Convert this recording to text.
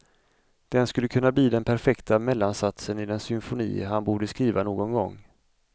Den skulle kunna bli den perfekta mellansatsen i den symfoni han borde skriva någon gång.